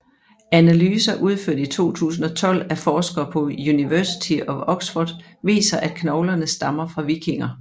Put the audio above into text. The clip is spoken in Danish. Analyser udført i 2012 af forskere på University of Oxford viser at knoglerne stammer fra vikinger